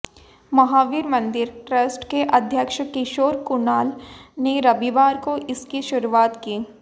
Mahavir Mandir trust के अध्यक्ष किशोर कुणाल ने रविवार को इसकी शुरुआत की